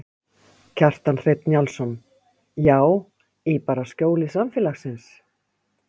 Kjartan Hreinn Njálsson: Já, í bara skjóli samfélagsins?